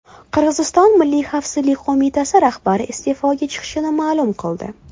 Qirg‘iziston milliy xavfsizlik qo‘mitasi rahbari iste’foga chiqishini ma’lum qildi.